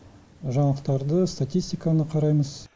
жаңалықтарды статистиканы қараймыз